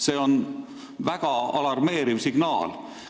See on väga alarmeeriv signaal.